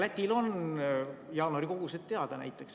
Lätil näiteks on jaanuari kogused teada.